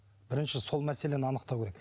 бірінші сол мәселені анықтау керек